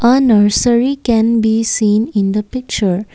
a nursery can be seen in the picture.